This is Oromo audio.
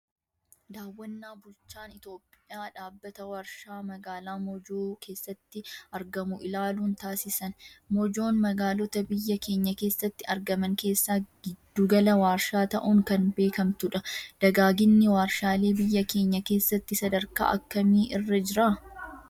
Daawwannaa bulchaan Itoophiyaa dhaabbata warshaa magaalaa Mojoo keessatti argamu ilaaluun taasisan. Mojoon magaalota biyya keenya keessatti argaman keessaa gidduu gala warshaa ta'uun kan beekamtudha. Dagaaginni warshaalee biyya keenya keessatti sadarkaa akkamii irra jira?